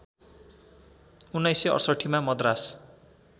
१९६८ मा मद्रास